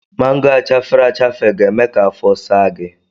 Mango a chafere achafe ga-eme ka afọ saa gị.